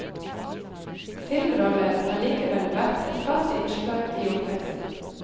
Filmroller har likevel vært et fast innslag i oppveksten.